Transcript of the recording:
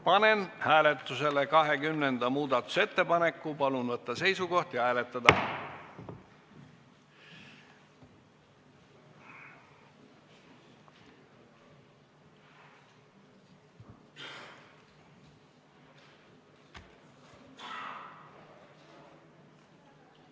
Panen hääletusele 20. muudatusettepaneku, palun võtta seisukoht ja hääletada!